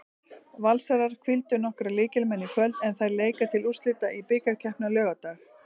Valsarar hvíldu nokkra lykilmenn í kvöld en þær leika til úrslita í bikarkeppninni á laugardag.